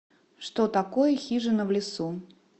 что такое хижина в лесу